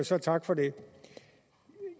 så tak for det